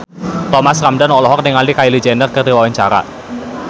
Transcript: Thomas Ramdhan olohok ningali Kylie Jenner keur diwawancara